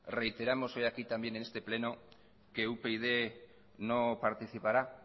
reiteramos hoy aquí también en este pleno que upyd no participará